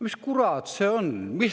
Mis kurat see on?